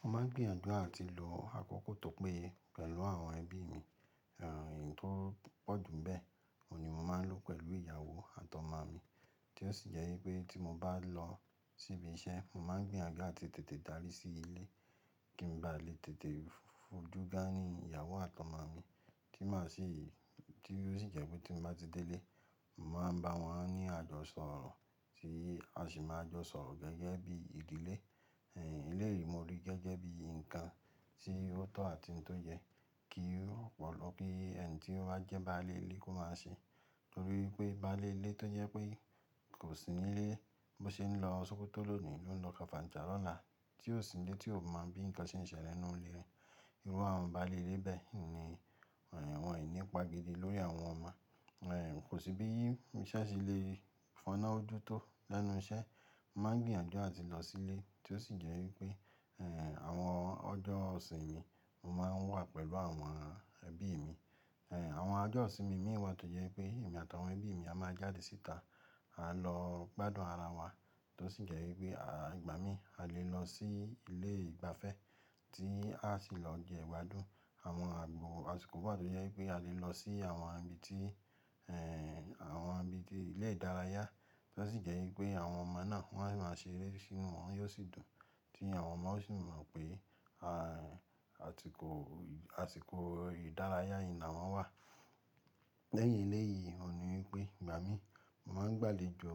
Mo máa ń gbìyànjú àti lọ àkókò tó pé pẹ̀lú àwọn ẹbí mi. Ẹ̀yìn tó pọ̀jù bẹ́ẹ̀, òun ni mo máa ń lò pẹ̀lú ìyàwó àtọmọ mi tí ó sì jẹ́ ípé tí mo bá lọ ṣíbí iṣẹ́, mo máa ń gbìyànjú àti tètè dárí sí ilé kí n ba lè tètè fojú gánìí ìyàwó àtọmọ mi tí má sì, tí ó sì jẹ́ pé tí mo bá ti délé, n màá bá wọn ní àjọsọrọ̀ tí a sì máa jọ sọ̀rọ̀ gẹ́gẹ́ bí ìdílé. Ẹ̀yìn eléyìí mo rí gẹ́gẹ́ bí ǹnkan tí ó tọ̀ àti n tó yẹ kí ó pọ̀ lọ kí ẹni tí ó bá jẹ́ baálé ilé kó má ṣe. Torí pé baálé ilé tó jẹ́ pé kò sí nílé, bó ṣe ń lọ ṣókotó ló ni lò o ń lọ kàfàǹchà lọ́la tí ó sì nlé tí ò mọ̀ bí ǹnkan ṣe ń ṣẹlẹ̀ n nú ilé re. Irú àwọn baálé ilé bẹ́ẹ̀ ni wọ́n n ni, won n ìní pa gidi lórí àwọn ọmọ. Ẹ̀ kò sí bí iṣẹ́ ṣe lè fọ́nà ojútó lẹ́nu iṣẹ́. Mo máa ń gbìyànjú àti lọ sílé tí ó sì jẹ́ wípé ẹ̀ àwọn ọjọ́ ìsinmi mo máa ń wà pẹ̀lú àwọn ẹbí mi. Ẹ̀ àwọn ọjọ́ ìsinmi mí wà tó jẹ́ pé èmi àtàwọn ẹbí mi a máa jáde síta, à lọ gbádùn ara wa tó sì jẹ́ ípé à, ìgbà mí a lè lọ sí ilé ìgbafẹ́ tí a sì lọ jẹ ìgbádùn. Àwọn àgbo àsikò wa tó jẹ́ ye pé a lè lọ sí àwọn ibi tí ẹ̀ àwọn ibi tí ilé ìdárayá tí ó sì jẹ́ ípé àwọn ọmọ náà wọ́n á máa ṣe eré sínú wọn yóò sì dùn tí àwọn ọmọ ó sì mọ̀ pé a atikò, àsìkò ìdárayá yìí nàwọn wà. Lẹ́yìn eléyìí òun ni wípé ìgbà mí, mò maa ń gbàlejò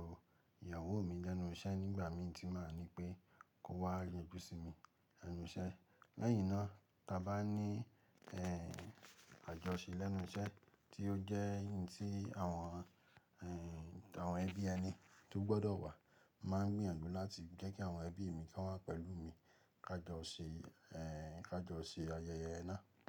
ìyàwó mi lẹ́nu iṣẹ́ nígbà mí tí màá ní pé kó wá yanjú sí mi lẹ́nu iṣẹ́. Lẹ́yìn náà ta bá ní ẹ̀ àjọṣe lẹ́nu iṣẹ́ tí ó jẹ́ n tí àwọn ẹ̀yin àwọn ẹbí ẹni tó gbọ́dọ̀ wà máa ń gbìyànjú láti jẹ́ kí àwọn ẹbí mi ko wá pẹ̀lú mi ká jọ ṣe ẹ̀ ká jọ ṣe ayẹyẹ náà.